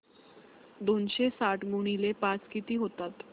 दोनशे साठ गुणिले पाच किती होतात